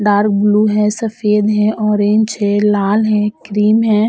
Dark blue है सफ़ेद है ऑरेंज है लाल है क्रीम है।